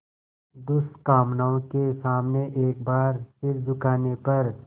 दुष्कामनाओं के सामने एक बार सिर झुकाने पर